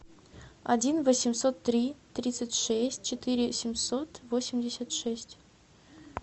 один восемьсот три тридцать шесть четыре семьсот восемьдесят шесть